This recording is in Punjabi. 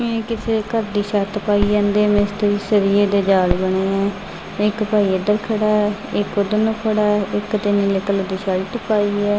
ਮੈਂ ਕਿਸੇ ਘਰ ਦੀ ਛੱਤ ਪਾਈ ਜਾਂਦੇ ਮਿਸਤਰੀ ਸਰੀਏ ਦੇ ਜਾਲ ਬਣੇ ਹ ਇੱਕ ਭਾਈ ਇੱਧਰ ਖੜਾ ਇਕ ਉੱਧਰ ਨੂੰ ਖੜਾ ਇੱਕ ਨੇ ਨੀਲੇ ਰੰਗ ਦੀ ਸ਼ਰਟ ਪਾਈ ਏ।